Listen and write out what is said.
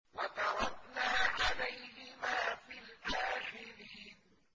وَتَرَكْنَا عَلَيْهِمَا فِي الْآخِرِينَ